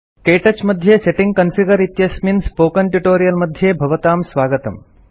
के touch मध्ये setting configuring इत्यस्मिन् spoken tutorial मध्ये भवतां स्वागतम्